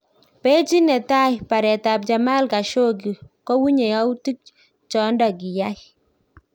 Pechit netai; baret ab Jamal Khashoggi kowunye youtik chondo kiyaak